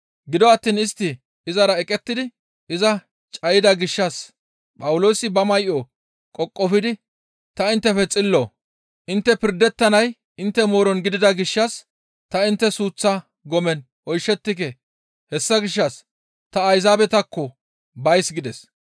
Gido attiin istti izara eqettidi iza cayida gishshas Phawuloosi ba may7o qoqofidi, «Ta inttefe xillo; intte pirdettanay intte mooron gidida gishshas ta intte suuththa gomen oyshettike; hessa gishshas ta Ayzaabetakko bays» gides.